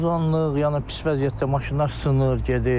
Bax tozalıq, yəni pis vəziyyətdə maşınlar sınır, gedir.